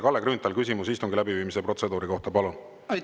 Kalle Grünthal, küsimus istungi läbiviimise protseduuri kohta, palun!